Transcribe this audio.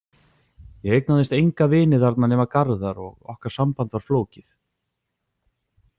Ég eignaðist enga vini þarna nema Garðar og okkar samband var flókið.